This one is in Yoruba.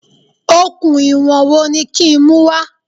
Okùn ìwọ̀n wo ni kí n mú wá?